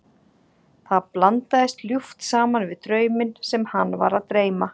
Það blandaðist ljúft saman við drauminn sem hann var að dreyma.